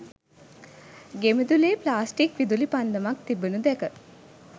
ගෙමිදුලේ plastic විදුලි පන්දමක් තිබෙනු දැක